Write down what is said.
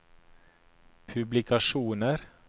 publikasjoner